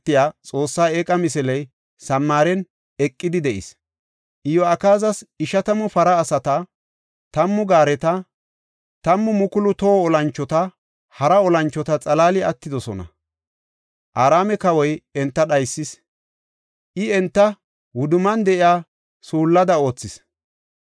Iyo7akaazas ishatamu para asata, tammu gaareta, 10,000 toho olanchota, hara olanchota xalaali attidosona. Araame kawoy enta dhaysis; I enta wudumman de7iya suullada oothis.